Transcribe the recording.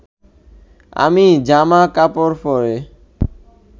আমি জামা কাপড় পরে